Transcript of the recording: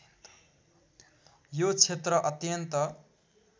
यो क्षेत्र अत्यन्त